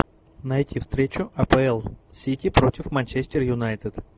найти встречу апл сити против манчестер юнайтед